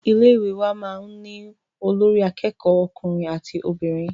Ilé ìwé wa máà ń ní olórí àkẹ́kọ̀ọ ọkùnrin àti obìnrin.